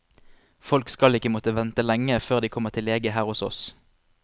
Folk skal ikke måtte vente lenge før de kommer til lege her hos oss.